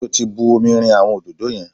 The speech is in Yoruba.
Ṣé o ti bu omi rin àwọn òdòdó yẹn?